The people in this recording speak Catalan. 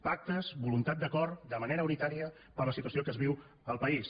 pactes voluntat d’acord de manera unitària per la situació que es viu al país